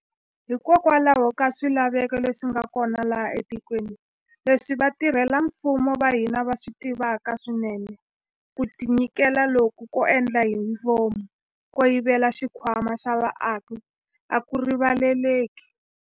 Hikokwalaho ka swilaveko leswi nga kona laha etikweni, leswi vatirhela mfumo va hina va swi tivaka swinene, ku tinyiketela loku ko endla hi vomu ko yivela xikhwama xa vaaki a ku rivaleleki.